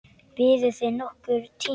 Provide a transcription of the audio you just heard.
Biðuð þið nokkurn tíma?